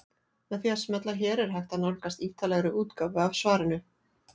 Með því að smella hér er hægt að nálgast ítarlegri útgáfu af svarinu.